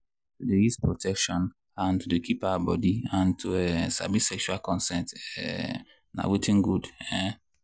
to dey use protection and and to dey keep our body and to um sabi sexual consent um na watin good. um